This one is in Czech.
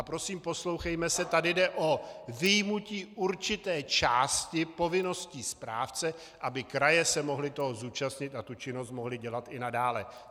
A prosím, poslouchejme se, tady jde o vyjmutí určité části povinností správce, aby kraje se mohly toho zúčastnit a tu činnost mohly dělat i nadále.